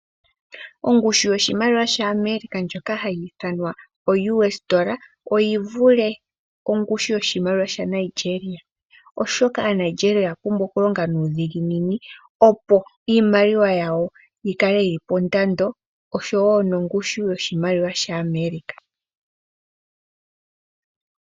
Ongushu yoshimaliwa shAmerica shoka hashi ithanwa o U$ oyivule ongundju yoshimaliwa shaNigeria, oshoka aaNageria oya pumbwa okulonga nuudhiginini opo iimaliwa yawo yikale yili pandando oshowo nongushu yoshimaliwa shAmerica.